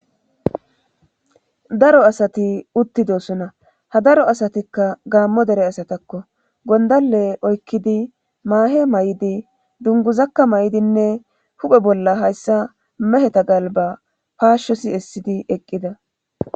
daro asati uttidosona ha daro asatikka gaammo dere asatakko gondale oykkidi maahe may7idi dunguzakka may7idinne huphe bolla hayssa meheta galba paashsho siessidi eqqida